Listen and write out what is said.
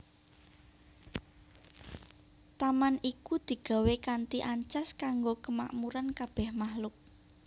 Taman iku digawé kanthi ancas kanggo kamakmuran kabèh makhluk